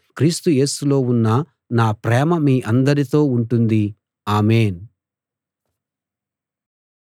క్రీస్తు యేసులో ఉన్న నా ప్రేమ మీ అందరితో ఉంటుంది ఆమేన్‌